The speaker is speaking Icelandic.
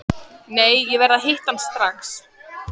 Nei, ég verð að hitta hann strax.